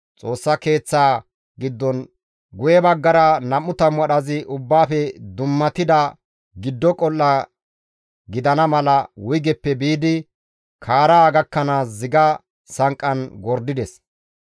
Xoossa Keeththaa giddon guye baggara 20 wadhazi Ubbaafe dummatida giddo qol7a gidana mala wuygeppe biidi kaara gakkanaas ziga sanqqan gordides.